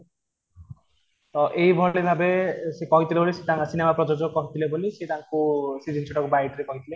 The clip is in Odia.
ତ ଏଇ ଭଳି ଭାବେ ସେ କହିଥିଲେ ତାଙ୍କ ସିନେମା ପ୍ରଯୋଜକ କହିଥିଲେ ବୋଲି ସେ ତାଙ୍କୁ ସେ ଜିନିଷ ଟା କୁ bite ରେ କହିଥିଲେ